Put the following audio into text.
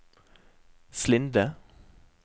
Slinde